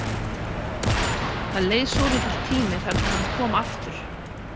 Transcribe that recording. Það leið svolítill tími þar til hann kom aftur.